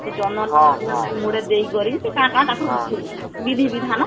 ସେ ଚନ୍ଦନ ତ ମୁଡ଼େର ଦେଇକରି ସେ କାଁ କାଁ ତାଙ୍କର ବିଧି ବିଧାନ କଲେ